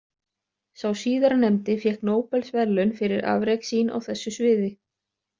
Sá síðarnefndi fékk Nóbelsverðlaun fyrir afrek sín á þessu sviði.